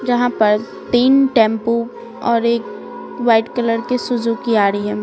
जहां पर तीन टैंपू और एक वाइट कलर के सुजुकी आ रही है।